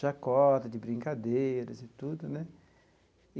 chacota, de brincadeiras e tudo, né?